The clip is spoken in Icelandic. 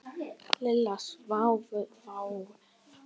Lilla svaraði fáu.